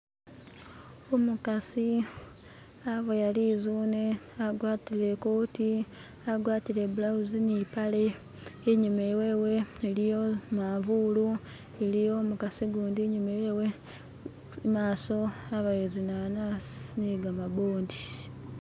Umukasi aboya lizune agwatile ikoti, agwatile ibulawuzi ni mpale inyuma wewe iliyo imafulu iliyo imukasi gundi inyuma wewe, imaaso abayo zinanasi negamabondi.